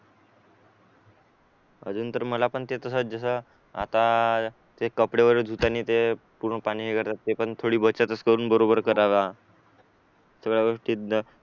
अजून तर मला पण ते तसं जसं आता ते कपडे वगैरे धुतांनी ते पूर्ण पाणी वगैरे पण थोडी बचतच करून बरोबर करावा